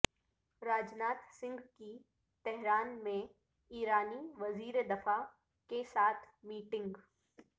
راج ناتھ سنگھ کی تہران میں ایرانی وزیر دفاع کےساتھ میٹنگ